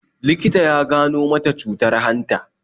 Likita ya gano mata cutar hanta